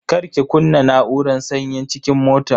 Kar ki kunna na'uran sanyin cikin motan.